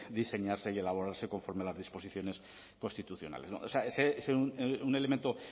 diseñarse y elaborarse conforme a las disposiciones constitucionales es un elemento